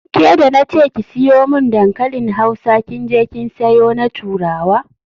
Ke da na ce ki siyo mun dankalin Hausa kin je kin sayo na turawa.